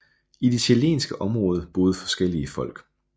I det chilenske område boede forskellige folk